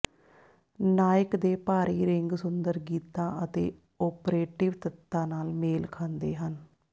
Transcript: ਨਾਇਕ ਦੇ ਭਾਰੀ ਰਿੰਗ ਸੁੰਦਰ ਗੀਤਾਂ ਅਤੇ ਓਪਰੇਟਿਵ ਤੱਤਾਂ ਨਾਲ ਮੇਲ ਖਾਂਦੇ ਹਨ